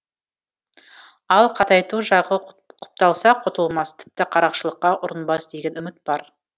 ал қатайту жағы құпталса құтылмас тіпті қарақшылыққа ұрынбас деген үміт бар